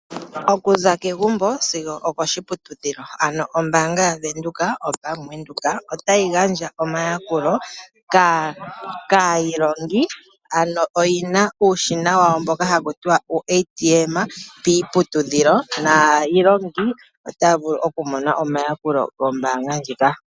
Okuza kegumbo sigo oko shiputudhilo, ano ombaanga yaVenduka otayi gandja omayakulo kaa yilongi . Ano oyi na uushina wawo mboka haku tiwa uuATM piiputudhilo, naa ilongi otaya vulu oku mona omayakulo gombaanga ndjika.